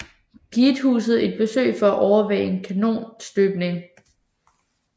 Giethuset et besøg for at overvære en kanonstøbning